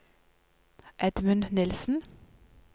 Edmund Nilsen